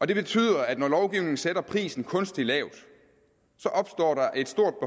det betyder at når lovgivningen sætter prisen kunstigt lavt opstår der et stort